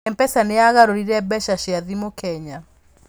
Mpesa nĩyaagarũrire mbeca cia thimũ Kenya.